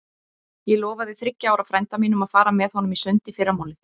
Ég lofaði þriggja ára frænda mínum að fara með honum í sund í fyrramálið.